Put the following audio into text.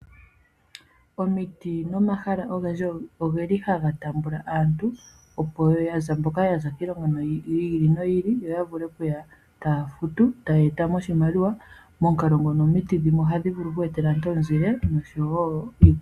Omiti nomahala ogendji ohaga taamba aantu ya za mpoka ya za kiilongo yi ili noyi ili, yo ya vule okuya taa futu taye eta mo oshimaliwa. Momukalo gu li ngawo omiti ohadhi vulu oku e tela aantu omuzile.